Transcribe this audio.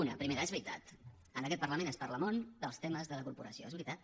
una primera és veritat en aquest parlament es parla molt dels temes de la corporació és veritat